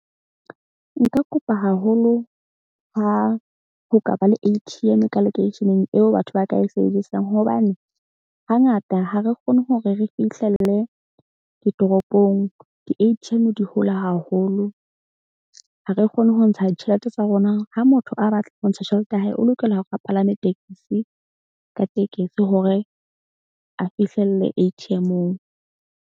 Nka kopa haholo ha ho ka ba le A_T_M ka lekeisheneng eo batho ba ka e sebedisang. Hobane hangata ha re kgone hore re fihlelle ditoropong. Di-A_T_M di hole haholo ha re kgone ho ntsha ditjhelete tsa rona. Ha motho a batla ho ntsha tjhelete ya hae, o lokela hore a palame tekesi ka tekesi hore a fihlelle A_T_M-ong.